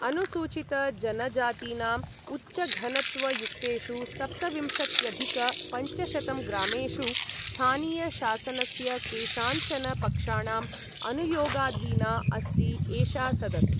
अनुसूचितजनजातीनाम् उच्चघनत्वयुक्तेषु सप्तविंशत्यधिक पञ्चशतं ग्रामेषु, स्थानीयशासनस्य केषाञ्चन पक्षाणाम् अनुयोगाधीना अस्ति एषा सदस्।